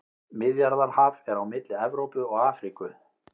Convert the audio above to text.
Miðjarðarhaf er á milli Evrópu og Afríku.